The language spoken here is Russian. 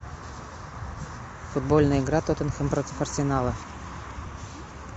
футбольная игра тоттенхэм против арсенала